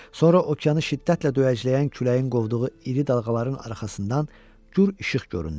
Sonra okeanı şiddətlə döyəcləyən küləyin qovduğu iri dalğaların arxasından gur işıq göründü.